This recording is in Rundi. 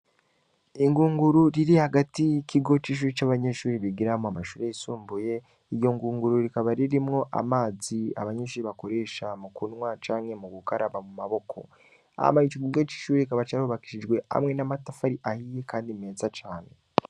Ingunguru riri hagati kigo c'ishuri c'abanyeshuri bigiramo amashuri yisumbuye iryo ngunguru rikaba ririmwo amazi abanyinshuri bakoresha mu kunwa canke mu gugaraba mu maboko amaye ij igigo c'ishuri rikaba carubakishijwe hamwe n'amatafari ahiye, kandi mesa cane.